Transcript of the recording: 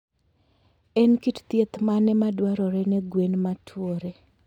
En kit thieth mane madwarore ne gwen ma tuore?